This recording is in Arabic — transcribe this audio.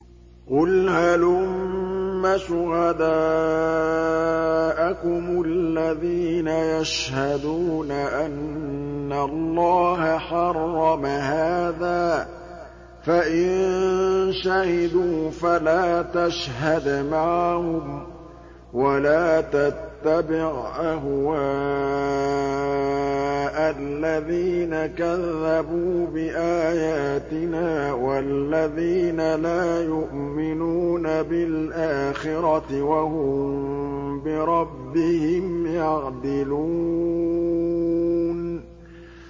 قُلْ هَلُمَّ شُهَدَاءَكُمُ الَّذِينَ يَشْهَدُونَ أَنَّ اللَّهَ حَرَّمَ هَٰذَا ۖ فَإِن شَهِدُوا فَلَا تَشْهَدْ مَعَهُمْ ۚ وَلَا تَتَّبِعْ أَهْوَاءَ الَّذِينَ كَذَّبُوا بِآيَاتِنَا وَالَّذِينَ لَا يُؤْمِنُونَ بِالْآخِرَةِ وَهُم بِرَبِّهِمْ يَعْدِلُونَ